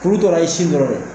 Kuru tora i sin dɔrɔn de ye